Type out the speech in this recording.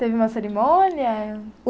Teve uma cerimônia?